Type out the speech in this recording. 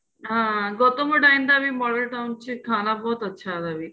ਹਾਂ Gautam model town ਚ ਖਾਣਾ ਬਹੁਤ ਅੱਛਾ ਉਹਦਾ ਵੀ